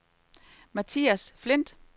Mathias Flindt